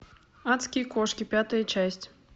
адские кошки пятая часть